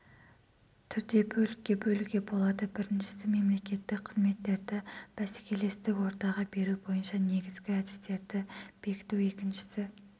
түрде бөлікке бөлуге болады біріншісі мемлекеттік қызметтерді бәсекелестік ортаға беру бойынша негізгі әдістерді бекіту екіншісі